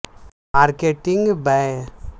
marketing بنیادی طور پر مواصلات کے بارے میں ہے